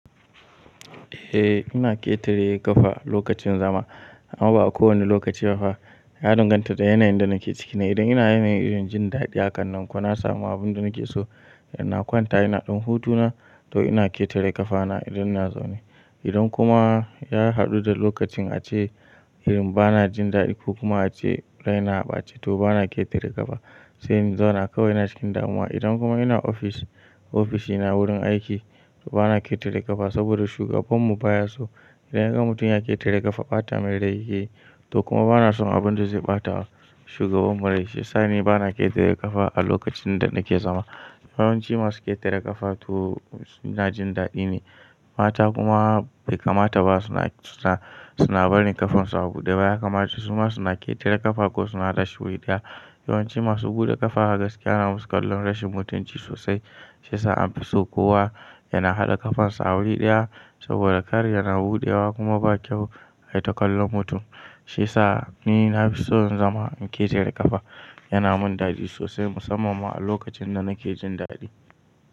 Eh, ina ƙetare ƙafa lokacin zama amma ba a kowane lokaci ba fa. Ya danganta da yanayin da nake ciki. Idan ina yanayi na jin daɗi a kan nan ko na samu abin da nake so, ina kwanta ina ɗin hutu na to ina ƙetare ƙafa na idan ina zaune. Idan kuma ya haɗu da lokacin ace irin ba na jin daɗi ko kuma ace raina ba ce to ba na ƙetare ƙafa. Se in zauna kawai ina cikin damuwa I dan kuma ina ofis ofishina wurin aiki, bana ketara kafa danoda shigabanmu baya. Idan yaga mutum yana ƙetare kafa bata mai rai yakeyi. To kuma bana son abin da zai bata shugabanmu rai shi ya sa ni bana ƙetare ƙafa a lokacin da nake zama. Yawanci masu ƙetare ƙafa to suna jin daɗi ne. Mata kuma bai kamata ba suna, suna barin ƙafansu a buɗe. Ba ya kamata su ma suna ƙetare ƙafa ko suna hada shi wuri ɗaya. Yawanci masu buɗe ƙafa gaskiya ana musu kallon rashin mutunci sosai. Shi ya sa an fi so kowa yana haɗa ƙafansa a wuri ɗaya saboda kar yana buɗewa kuma ba kyau a yi ta kallon mutum. Shi ya sa ni na fi so in zama in ƙetare ƙafa. Yana min daɗi sosai musamman ma a lokacin da nake jin daɗi.